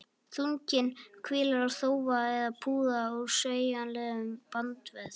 Þunginn hvílir á þófa eða púða úr sveigjanlegum bandvef.